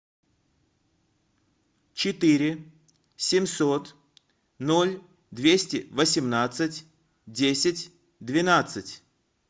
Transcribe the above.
четыре семьсот ноль двести восемнадцать десять двенадцать